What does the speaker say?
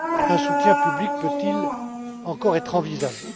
un soutien public peut il encore être envisagé?